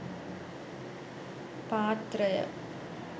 පාත්‍රය